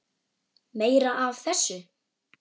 Meira af þessu!